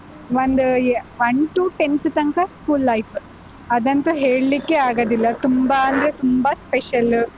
ಒಂದ್ one to tenth ತನ್ಕ school life ಅದಂತು ಹೇಳ್ಲಿಕ್ಕೇ ಆಗದಿಲ್ಲ, ತುಂಬಾ ಅಂದ್ರೆ ತುಂಬಾ special .